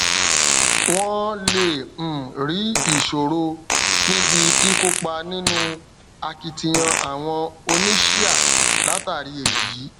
wọn lè um rí ìṣòro níbi kíkópa nínú akitiyan àwọn oníṣíà látàrí èyí